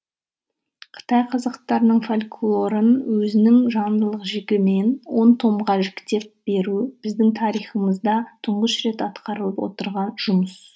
қытай қазақтарының фольклорын өзінің жанрлық жігімен он томға жіктеп беру біздің тарихымызда тұңғыш рет атқарылып отырған жұмыс